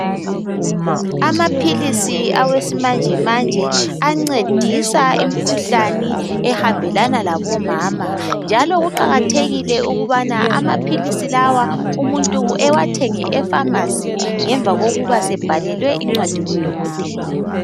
Amaphilisi awesimanje manje ancedisa imikhuhlane ehambelana labo mama njalo kuqakathekile ukubana amaphilisi lawa umuntu ewathenge e"pharmacy " ngemva kokuba sebhalelwe incwadi ngudokotela.